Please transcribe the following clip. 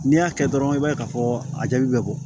N'i y'a kɛ dɔrɔn i b'a ye k'a fɔ a jaabi bɛ bɔ